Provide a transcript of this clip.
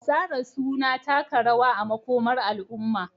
tsara suna taka rawa a makomar al'umma.